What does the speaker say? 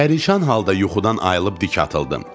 Pərişan halda yuxudan ayılıb dik atıldım.